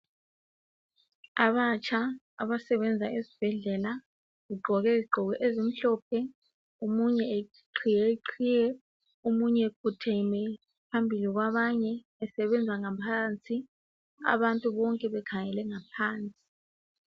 Abatsha abasebenza esibhedlela. Begqoke izigqoko ezimhlophe. Omunye eqhiye iqhiye. Omunye ekhotheme, phambili kwabanye. Esebenza ngaphansi. Abantu bonke bekhangele ngaphansi.,